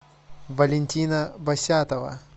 валентина басятова